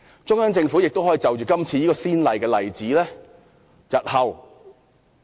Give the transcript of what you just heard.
中央政府亦可因應今次的先例......